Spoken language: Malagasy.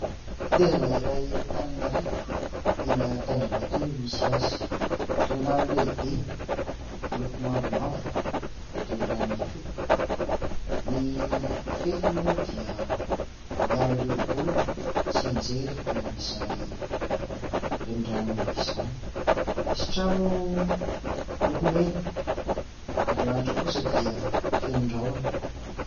Tetezana iray eto Antananarivo, eny an-Tanjombato eny no misy azy. Renirano lehibe miloko mavomavo, reniranon'Ikopa. Ny fefy moa dia miaro ireo olona tsy hianjera any amin'izany renirano izany. Misy trano miloko mena ary ny lanitra kosa dia feno rahona.